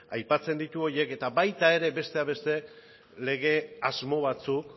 aipatzen ditu horiek eta baita ere besteak ere lege asmo batzuk